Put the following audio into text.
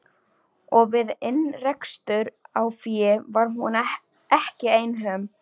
Og við innrekstur á fé var hún ekki einhöm.